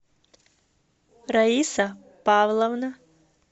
раиса павловна